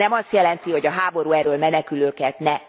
És ez nem azt jelenti, hogy a háború elől menekülőket ne...